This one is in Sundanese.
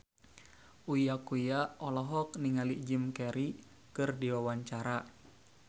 Uya Kuya olohok ningali Jim Carey keur diwawancara